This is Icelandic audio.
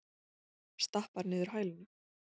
Stappar niður hælunum.